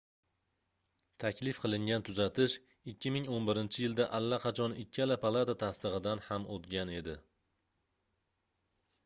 taklif qilingan tuzatish 2011-yilda allaqachon ikkala palata tasdigʻidan ham oʻtgan edi